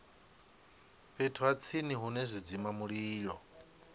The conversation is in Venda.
fhethu ha tsini hune zwidzimamulilo